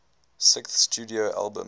sixth studio album